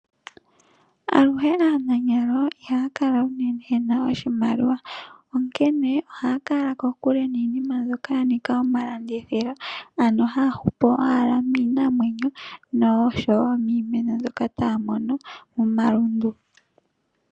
Aluhe aananyalo ihaya kala aluhe yena oshimaliwa , onkene ohaya kala kokule niinima mbyoka yanika omalandithilo. Ohaya hupu owala miinamwenyo noshowoo miimeno mbyoka taya mono momalundu.